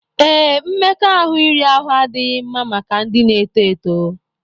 Ee, mmekọahụ iri ahụ adịghị mma maka ndị na-eto eto